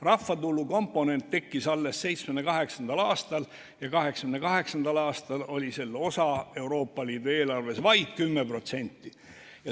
Rahvatulu komponent tekkis alles 1978. aastal ja 1988. aastal oli selle osa Euroopa Liidu eelarves vaid 10%.